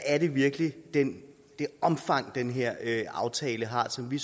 er i virkeligheden det omfang som den her aftale har som vi